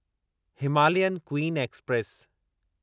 Himalayan queen express